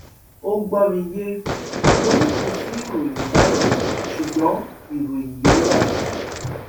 ó gbọ mi yé mo ní kò sí ìròyìn báyìí ṣùgbọn ìròyìn yóò wà